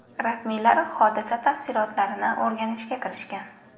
Rasmiylar hodisa tafsilotlarini o‘rganishga kirishgan.